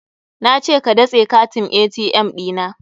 Na ce ka datse katin ATM ɗi na.